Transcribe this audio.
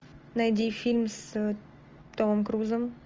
найди фильм с томом крузом